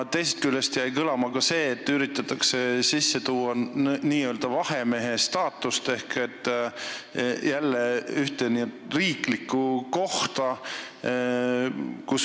Teisest küljest jäi kõlama see, et üritatakse sisse tuua nn vahemehe staatust ehk luua jälle ühte riiklikku ametikohta.